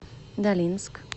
долинск